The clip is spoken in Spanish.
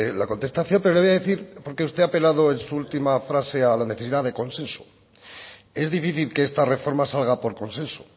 la contestación pero le voy a decir porque usted ha apelado en su última frase a la necesidad de consenso es difícil que esta reforma salga por consenso